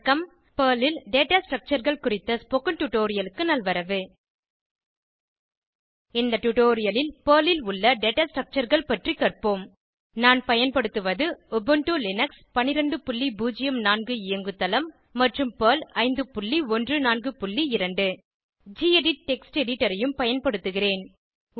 Perl ல் data Structureகள் குறித்த ஸ்போகன் டுடோரியலுக்கு நல்வரவு இந்த டுடோரியலில் பெர்ல் ல் உள்ள டேட்டா Structureகள் பற்றி கற்போம் நான் பயன்படுத்துவது உபுண்டு லினக்ஸ் 1204 இயங்கு தளம் மற்றும் பெர்ல் 5142 கெடிட் டெக்ஸ்ட் எடிட்டர் ஐயும் பயன்படுத்துகிறேன்